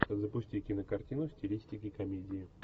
запусти кинокартину в стилистике комедии